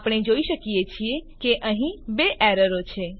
આપણે જોઈ શકીએ છીએ કે અહીં બે એરરો છે